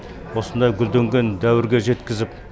осындай гүлденген дәуірге жеткізіп